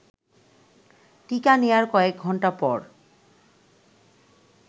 টিকা নেয়ার কয়েকঘণ্টা পর